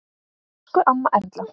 Elsku amma Erla.